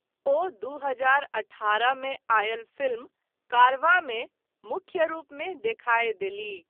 ओ दू हजार अठारह मे आयल फिल्म 'कारवाँ' मे मुख्य रूपमे देखाय देलीह।